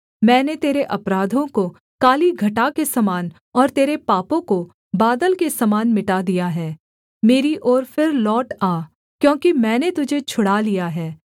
मैंने तेरे अपराधों को काली घटा के समान और तेरे पापों को बादल के समान मिटा दिया है मेरी ओर फिर लौट आ क्योंकि मैंने तुझे छुड़ा लिया है